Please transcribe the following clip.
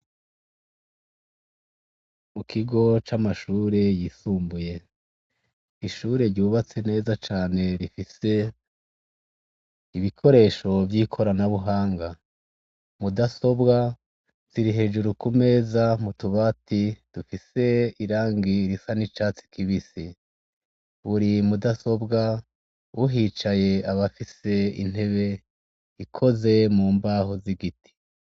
Mukigo camashure yisumbuye ishure ryubatse neza cane rifise ibikoresho vyikorana mahanga mudasobwa zirihejuru kumeza mutubati dufise irangi risa nicatsi buri mudasobwa uhicaye bafise intebe ikozwe mubaho zigiti